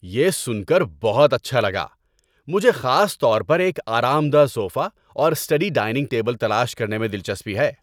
یہ سن کر بہت اچھا لگا! مجھے خاص طور پر ایک آرام دہ صوفہ اور اسٹڈی ڈائننگ ٹیبل تلاش کرنے میں دلچسپی ہے۔